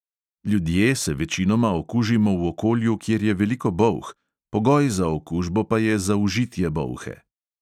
Ljudje se večinoma okužimo v okolju, kjer je veliko bolh, pogoj za okužbo pa je zaužitje bolhe.